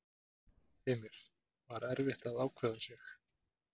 Heimir: Var erfitt að ákveða sig?